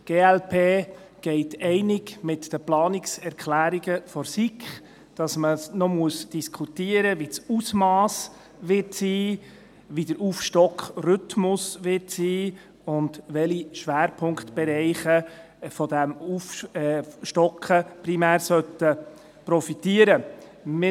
Die glp geht einig mit den Planungserklärungen der SiK, dass man noch diskutieren müsse, welches das Ausmass sein werde, wie der Aufstockungsrhythmus sein werde und welche Schwerpunktbereiche von dieser Aufstockung primär profitieren sollen.